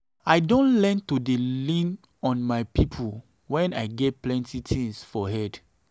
i don learn to dey lean on my people when i get plenty tins for head.